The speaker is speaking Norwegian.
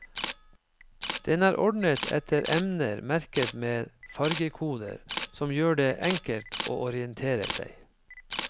Den er ordnet etter emner merket med fargekoder, som gjør det enkelt å orientere seg.